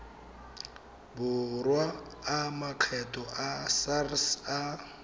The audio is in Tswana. borwa a makgetho sars a